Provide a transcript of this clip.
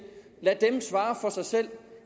lad dem svare for sig selv